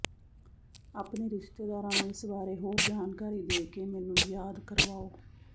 ਆਪਣੇ ਰਿਸ਼ਤੇਦਾਰਾਂ ਨੂੰ ਇਸ ਬਾਰੇ ਹੋਰ ਜਾਣਕਾਰੀ ਦੇ ਕੇ ਮੈਨੂੰ ਯਾਦ ਕਰਵਾਓ